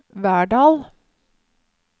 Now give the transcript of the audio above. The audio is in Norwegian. Verdal